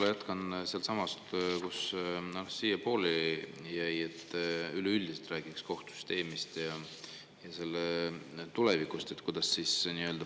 Ma jätkan sealtsamast, kus teil pooleli jäi: et üleüldiselt räägiks kohtusüsteemist ja selle tulevikust, kuidas paremini.